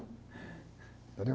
Entendeu?